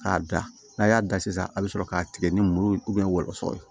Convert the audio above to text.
K'a da n'a y'a da sisan a bɛ sɔrɔ k'a tigɛ ni muru ye wɔlɔsɔ ye